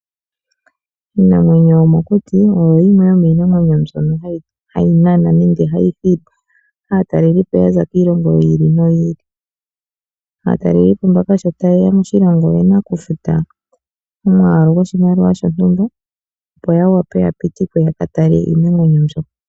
Iinamwenyo yomokuti oyo yimwe yomiinamwenyo mbyono hayi nana nenge hayi hili aatalelipo yaza kiilongo yiili noyiili. Aatalelipo mbaka sho ta yeya moshilongo oyena okufuta omwaalu goshimaliwa shontumba opo yawape yapitikwe yaka tale iinamqenyo mbyoka.